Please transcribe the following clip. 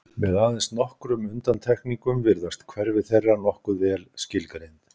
Með aðeins nokkrum undantekningum virðast hverfi þeirra nokkuð vel skilgreind.